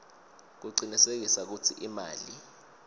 kucinisekisa kutsi imali